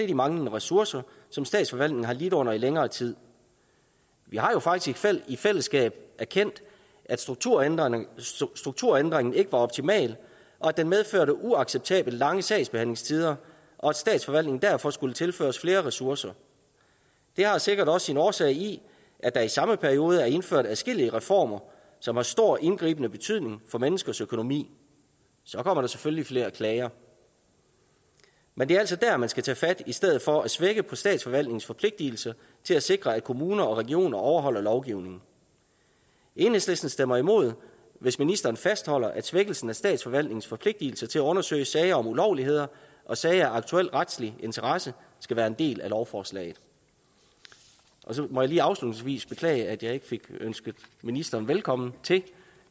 de manglende ressourcer som statsforvaltningen har lidt under i længere tid vi har jo faktisk i fællesskab erkendt at strukturændringen strukturændringen ikke var optimal at den medførte uacceptabelt lange sagsbehandlingstider og at statsforvaltningen derfor skulle tilføres flere ressourcer det har sikkert også sin årsag i at der i samme periode er indført adskillige reformer som har stor indgribende betydning for menneskers økonomi så kommer der selvfølgelig flere klager men det er altså dér man skal tage fat i stedet for at svække statsforvaltningens forpligtelse til at sikre at kommuner og regioner overholder lovgivningen enhedslisten stemmer imod hvis ministeren fastholder at svækkelsen af statsforvaltningens forpligtelse til at undersøge sager om ulovligheder og sager af aktuel retlig interesse skal være en del af lovforslaget så må jeg lige afslutningsvis beklage at jeg ikke fik ønsket ministeren velkommen til